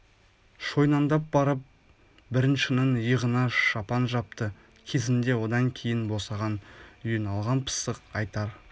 шойнаңдап барып бңріншінің иығына шапан жапты кезінде одан кейңн босаған үйін алған пысық айтар